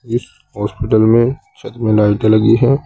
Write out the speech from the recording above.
Hospital में छत मे लाइटे लगी है।